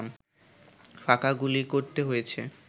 ফাঁকা গুলি করতে হয়েছে